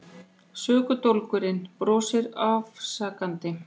Sökudólgurinn brosir afsakandi.